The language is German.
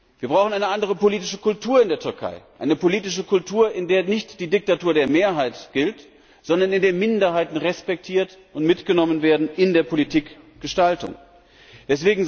Wir brauchen eine andere politische Kultur in der Türkei, eine politische Kultur, in der nicht die Diktatur der Mehrheit gilt, sondern in der Minderheiten respektiert und bei der Politikgestaltung mitgenommen werden.